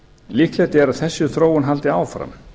líklegt er að þessi þróun haldi áfram